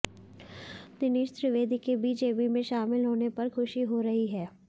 दिनेश त्रिवेदी के बीजेपी में शामिल होने पर खुशी हो रही है